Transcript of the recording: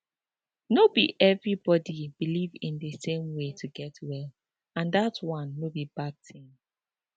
no be everybody believe in the same way to get well and that one no be bad tin